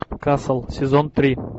касл сезон три